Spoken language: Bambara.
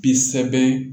Bi sɛbɛn